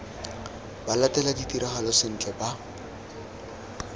ba latele ditiragalo sentle ba